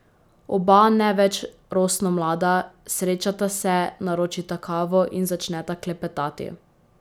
Oba ne več rosno mlada, srečata se, naročita kavo in začneta klepetati.